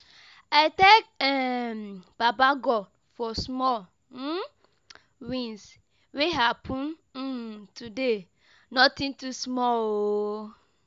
I thank um Baba God for small um wins wey happen um today, nothing too small.